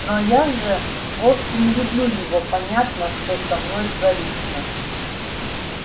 но я же вовсе не люблю его понятно что со мной творится